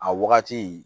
A wagati